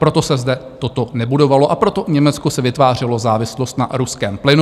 Proto se zde toto nebudovalo a proto Německo si vytvářelo závislost na ruském plynu.